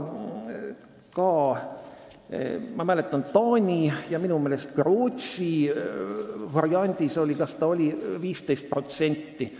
Ma mäletan, Taani ja minu meelest ka Rootsi variandis oli see vist 15%.